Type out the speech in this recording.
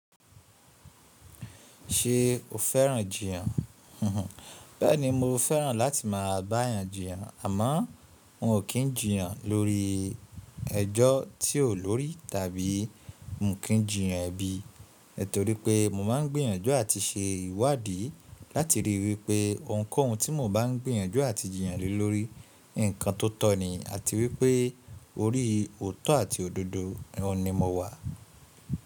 Ṣe o fẹ́ràn jiyàn? Bẹ́ẹ̀ni mo fẹ́ràn láti máa bá èèyàn jiyàn àmọ́ n ò kí ń jiyan lórí ẹjọ́ tí o lórí tàbí mo kí ń jiyan ẹbí, torí pé mo máa ń gbìyànjú àti ṣe ìwádìí láti ríi wípé ohunkóhun tí mo bá ń gbìyànjú àti jiyàn lé lórí ǹkan tó tọ ní àti wípé orí òótọ́ àti òdodo òun ni mo wà.